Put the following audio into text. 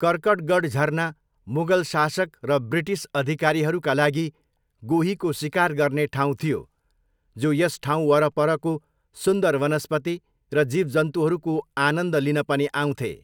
कर्कटगढ झरना मुगल शासक र ब्रिटिस अधिकारीहरूका लागि गोहीको सिकार गर्ने ठाउँ थियो जो यस ठाउँवरपरको सुन्दर वनस्पति र जीवजन्तुहरूको आनन्द लिन पनि आउँथे।